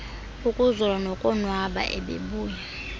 ukuzola nokonwaba ebebuya